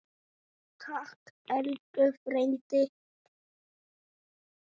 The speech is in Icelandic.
Takk elsku frændi.